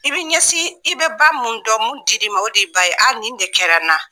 I bɛ ɲɛsin i bɛ ba min dɔn min dir'i ma o de y'i ba ye a nin de kɛra n na